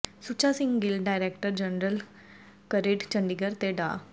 ਸੁੱਚਾ Singh Gill director general CRRID Chandigarh ਤੇ ਡਾ